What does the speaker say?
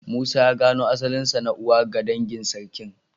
Musa ya gano asalinsa na uwa ga dangin Sarkin.